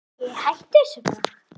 Æi, hættu þessu bara.